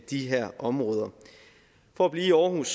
de her områder for at blive i aarhus